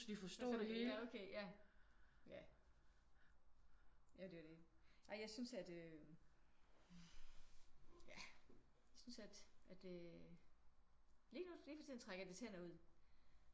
Forstå ja okay ja. Ja ja det er jo det. Ej jeg synes at øh ja jeg synes at at øh lige nu lige for tiden trækker det tænder ud